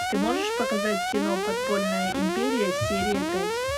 ты можешь показать кино подпольная империя серия пять